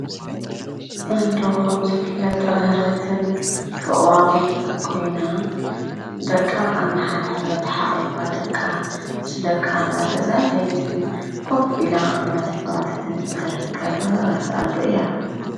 ኣዶ ኸም ዝፍለጥ ርህርህትን በቕባቐን ኮይና ደቃ እዳሓሓበት ሓቁፋ ደቃ ምስ ደቃ እዳተዛተየት ከፍን ኢላ እዳተጫወተትን እትርከብ ርህርትን ኣዶ እያ?